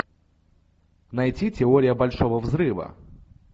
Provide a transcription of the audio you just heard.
найти теория большого взрыва